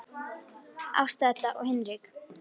Ásta Edda og Hinrik.